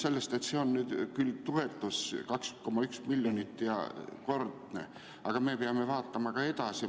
See on nüüd küll toetus 2,1 miljonit ja ühekordne, aga me peame vaatama ka edasi.